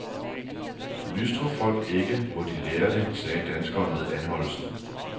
Lystrer folk ikke, må de lære det, sagde danskeren ved anholdelsen.